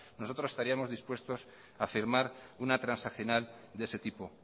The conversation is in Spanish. nosotros estaríamos dispuestos a firmar una transaccional de ese tipo